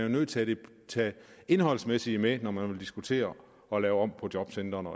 nødt til at tage det indholdsmæssige med når man vil diskutere og lave om på jobcentrene